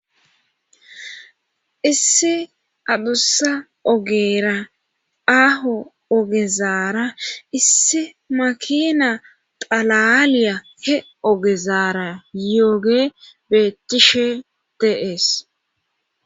isse adussa ogeera aaho ogezaara isse makina qalaaliya he ogezaara yooge beettishe teees